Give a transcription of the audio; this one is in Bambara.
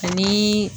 Ani